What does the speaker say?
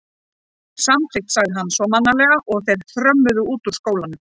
Samþykkt sagði hann svo mannalega og þeir þrömmuðu út úr skólanum.